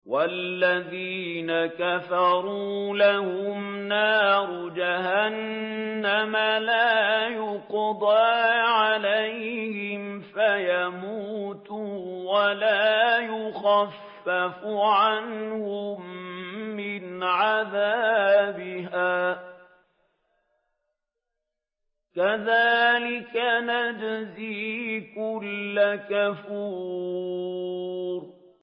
وَالَّذِينَ كَفَرُوا لَهُمْ نَارُ جَهَنَّمَ لَا يُقْضَىٰ عَلَيْهِمْ فَيَمُوتُوا وَلَا يُخَفَّفُ عَنْهُم مِّنْ عَذَابِهَا ۚ كَذَٰلِكَ نَجْزِي كُلَّ كَفُورٍ